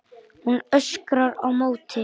Hún öskrar á móti.